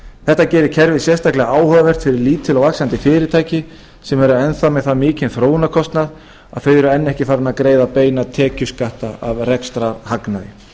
þetta gerir kerfið sérstaklega áhugavert fyrir lítil og vaxandi fyrirtæki sem eru enn þá með það mikinn þróunarkostnað að þau eru enn ekki farin að greiða beina tekjuskatta af rekstrarhagnaði